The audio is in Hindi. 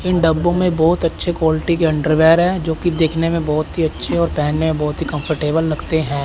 इन डब्बों में बहुत अच्छे क्वालिटी के अंडरवेयर है जो कि देखने में बहुत ही अच्छे और पेहनने में बहुत ही कंफर्टेबल लगते हैं।